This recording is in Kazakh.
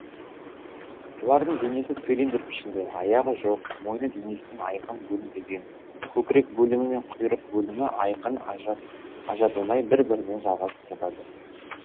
бұлардың денесі цилиндр пішінді аяғы жоқ мойыны денесінен айқын бөлінбеген көкірек бөлімі мен құйрық бөлімі айқын ажыратылмай бір бірімен жалғасып жатады